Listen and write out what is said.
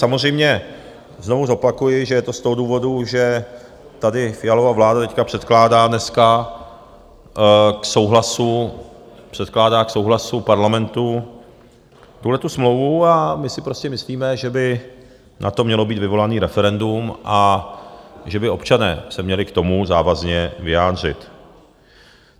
Samozřejmě znovu zopakuji, že je to z toho důvodu, že tady Fialova vláda teď předkládá dneska k souhlasu Parlamentu tuhletu smlouvu a my si prostě myslíme, že by na to mělo být vyvolané referendum a že by občané se měli k tomu závazně vyjádřit.